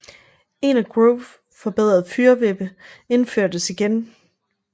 En af Grove forbedret fyrvippe indførtes igen